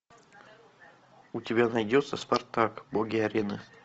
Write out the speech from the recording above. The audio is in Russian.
у тебя найдется спартак боги арены